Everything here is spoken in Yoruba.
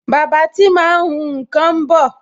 Bàbá tí máa ń hun nkan ń bọ̀